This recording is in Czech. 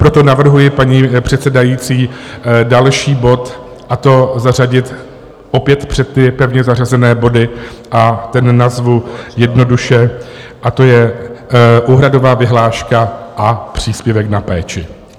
Proto navrhuji, paní předsedající, další bod, a to zařadit opět před ty pevně zařazené body, a ten nazvu jednoduše, a to je úhradová vyhláška a příspěvek na péči.